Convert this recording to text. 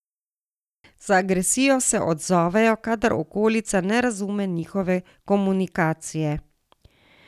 Z agresijo se odzovejo, kadar okolica ne razume njihove komunikacije.